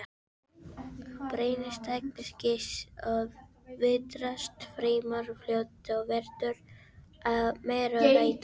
Brennisteinskís veðrast fremur fljótt og verður að mýrarauða.